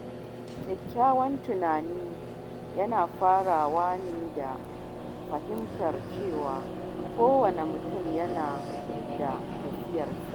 Kyakkyawan tunani yana farawa ne da fahimtar cewa kowane mutum yana tafiyarsa.